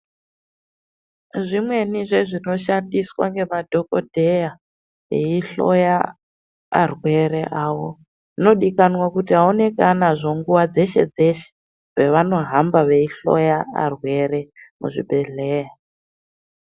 Zvimweni zvezvinoshandiswa ngemadhokodheya veihloya arwere avo zvinodikanwa kuti aonekwe anazvo nguwa dzeshe dzeshe pavanohamba veihloya varwere muzvibheddhleya.